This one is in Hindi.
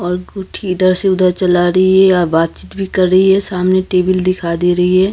अंगूठी इधर से उधर चला रही है या बातचीत भी कर रही हे सामने टेबल दिखाई दे रही है।